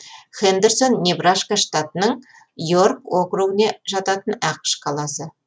хэндерсон небраска штатының йорк округіне жататын ақш қаласы